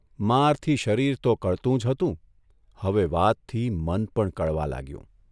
મારથી શરીર તો કળતું જ હતું હવે વાતથી મન પણ કળવા લાગ્યું.